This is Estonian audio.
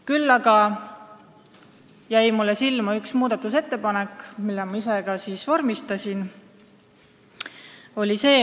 Küll aga jäi mulle silma üks muudatusettepanek, mille ma olin ise vormistanud.